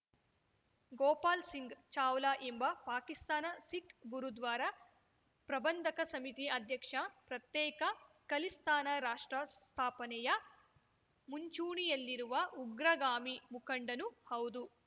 ಗೋಪಾಲ್‌ ಸಿಂಗ್‌ ಚಾವ್ಲಾ ಎಂಬ ಪಾಕಿಸ್ತಾನ ಸಿಖ್‌ ಗುರುದ್ವಾರ ಪ್ರಬಂಧಕ ಸಮಿತಿ ಅಧ್ಯಕ್ಷ ಪ್ರತ್ಯೇಕ ಖಲಿಸ್ತಾನ ರಾಷ್ಟ್ರ ಸ್ಥಾಪನೆಯ ಮುಂಚೂಣಿಯಲ್ಲಿರುವ ಉಗ್ರಗಾಮಿ ಮುಖಂಡನೂ ಹೌದು